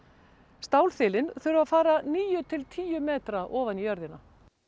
stálþilin þurfa að fara níu til tíu metra ofan í jörðina